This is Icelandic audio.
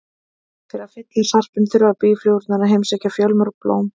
Til að fylla sarpinn þurfa býflugurnar að heimsækja fjölmörg blóm.